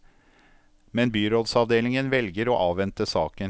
Men byrådsavdelingen velger å avvente saken.